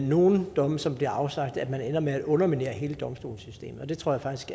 nogle domme som bliver afsagt at det ender med at underminere hele domstolssystemet jeg tror faktisk